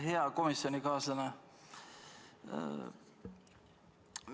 Hea komisjonikaaslane!